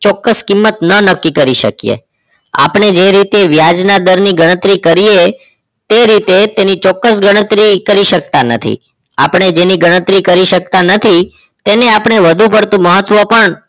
ચોક્કસ કિંમત ન નક્કી કરી શકીએ આપણે જે રીતે વ્યાજના દરની ગણતરી કરીએ તે રીતે તેની ચોક્કસ ગણતરી કરી શકતા નથી આપણે જેની ગણતરી કરી શકતા નથી તેને આપણે વધુ પડતું મહત્વ પણ